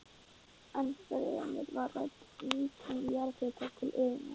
Ennfremur var rædd nýting jarðhitans til iðnaðar.